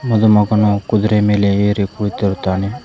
ಮದುಮಗನು ಕುದುರೆ ಮೇಲೆ ಏರಿ ಕೂಳಿತಿರುತ್ತಾನೆ.